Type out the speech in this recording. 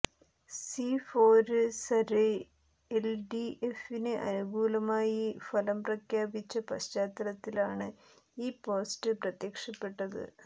see fore survey എല്ഡിഎഫിന് അനുകൂലമായി ഫലം പ്രവചിച്ച പശ്ചാത്തലത്തിലാണ് ഈ പോസ്റ്റ് പ്രത്യക്ഷപ്പെട്ടത്